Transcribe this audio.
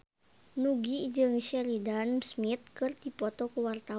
Nugie jeung Sheridan Smith keur dipoto ku wartawan